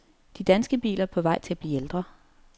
De danske biler er på vej til at blive ældre.